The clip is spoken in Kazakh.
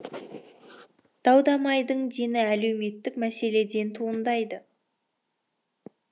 дау дамайдың дені әлеуметтік мәселеден туындайды